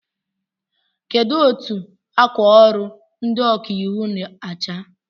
Kedụ etụ akwa ọrụ ndị ọkà íwú na-acha?